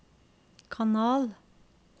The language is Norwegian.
kanal